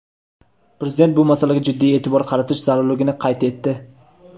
Prezident bu masalaga jiddiy eʼtibor qaratish zarurligini qayd etdi.